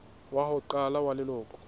wa ho qala wa leloko